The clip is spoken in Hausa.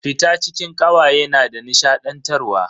Fita cikin kawaye na da nishadantarwa.